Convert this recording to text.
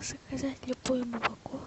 заказать любое молоко